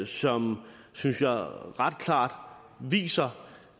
som synes jeg ret klart viser